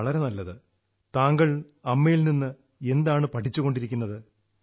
സബാഷ് താങ്കൾ അമ്മയിൽ നിന്ന് എന്താണ് പഠിച്ചുകൊണ്ടിരിക്കുന്നത്